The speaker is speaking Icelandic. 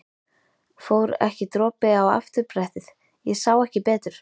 Fór ekki dropi á afturbrettið. ég sá ekki betur!